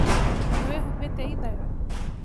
Nĩ Wihumbĩte ĩnyatha?